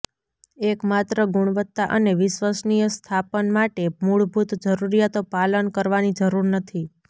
એક માત્ર ગુણવત્તા અને વિશ્વસનીય સ્થાપન માટે મૂળભૂત જરૂરીયાતો પાલન કરવાની જરૂર નથી